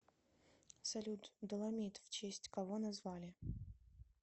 салют доломит в честь кого назвали